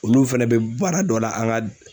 Olu fɛnɛ bɛ baara dɔ la an ka